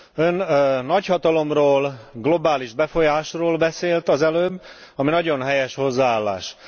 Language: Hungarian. Ön nagyhatalomról, globális befolyásról beszélt az előbb, ami nagyon helyes hozzáállás.